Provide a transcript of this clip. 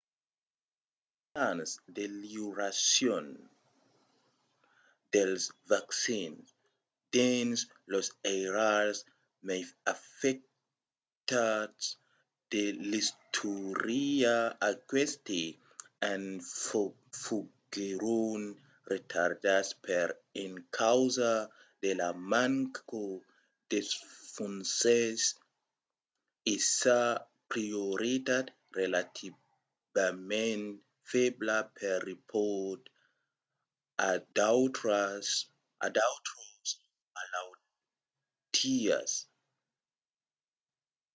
los plans de liurason dels vaccins dins los airals mai afectats de l'istòria aqueste an foguèron retardats per encausa de la manca de fonses e sa prioritat relativament febla per rapòrt a d'autras malautiás